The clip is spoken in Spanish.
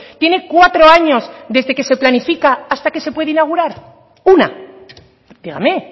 tiene cuatro años desde que se planifica hasta que se puede inaugurar una dígame